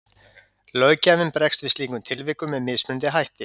Löggjafinn bregst við slíkum tilvikum með mismunandi hætti.